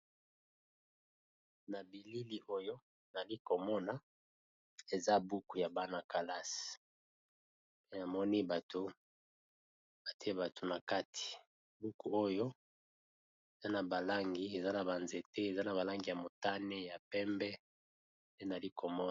Na bilili oyo na likomona eza buku ya bana calase mpe namoni bato batie bato na kati buku oyo eza na balangi eza na ba nzete eza na ba langi ya motane ya pembe te na likomona.